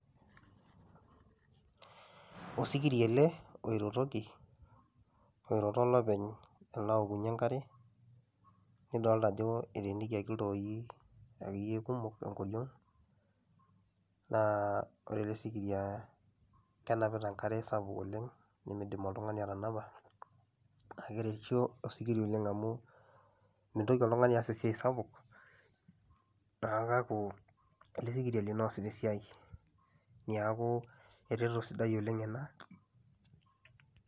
Osikiria eele oirotokiolopeny aalo aokunyie enkare, nidoolta aajo eteenikiaki iltooi kumok enkoriong'.Naa oore ele sirikiria kenapita enkare sapuk oleng, naa meidim oltung'ani atanapa, niaku keretisho osikiria oleng' amuu mintoki oltung'ani aas esiai sapuk amuu kiaku eele sikiria lino loasita esiai niaku eretoto sapuk eena.